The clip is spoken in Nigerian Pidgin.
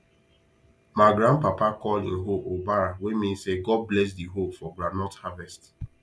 ma grand papa call him hoe obara wey mean say god bless the hoe for groundnut harvest